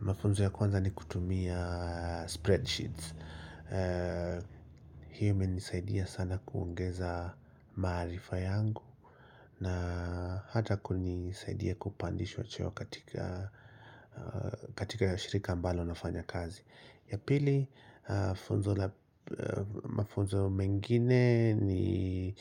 Mafunzo ya kwanza ni kutumia spreadsheets Hii imenisaidia sana kuongeza maarifa yangu na hata kunisaidia kupandishwa cheo katika shirika ambalo nafanya kazi Yapili funzo mafunzo mengine ni